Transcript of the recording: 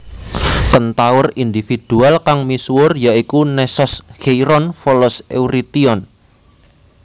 Kentaur individual kang misuwur ya iku Nessos Kheiron Folos Eurition